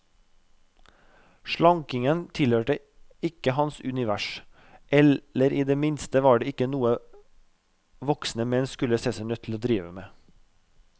Slankingen tilhørte ikke hans univers, eller i det minste var det ikke noe voksne menn skulle se seg nødt til å drive med.